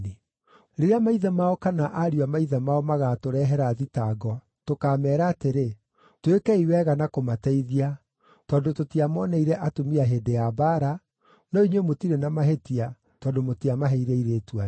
Rĩrĩa maithe mao kana ariũ a maithe mao magaatũrehera thitango, tũkaameera atĩrĩ, ‘Twĩkei wega na kũmateithia, tondũ tũtiamooneire atumia hĩndĩ ya mbaara, no inyuĩ mũtirĩ na mahĩtia, tondũ mũtiamaheire airĩtu anyu.’ ”